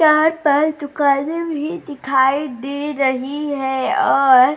चार पाँच दुकानें भी दिखाई दे रही है और --